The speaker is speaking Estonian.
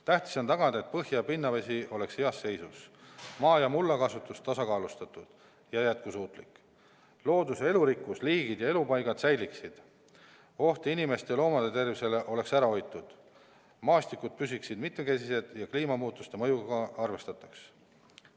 Tähtis on tagada, et põhja- ja pinnavesi oleks heas seisus, maa- ja mullakasutus tasakaalustatud ja jätkusuutlik, looduse elurikkus, liigid ja elupaigad säiliksid, oht inimeste ja loomade tervisele oleks ära hoitud, maastikud püsiksid mitmekesised ja kliimamuutuste mõjuga arvestataks.